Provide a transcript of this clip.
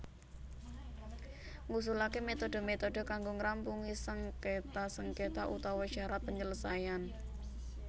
Ngusulaké metode metode kanggo ngrampungi sengketa sengketa utawa syarat penyelesaian